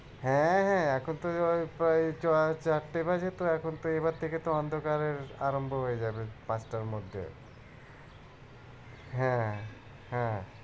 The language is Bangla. হ্যাঁ হ্যাঁ এখন তো ওই প্রায় চ~ চারটে বাজে তো এখন থেকে তো অন্ধকার আরাম্ভ হয়ে যাবে পাঁচটার মধ্যে হ্যাঁ হ্যাঁ।